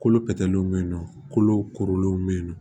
Kolo pɛtɛlen bɛ yen nɔ kolow kurulenw bɛ yen nɔ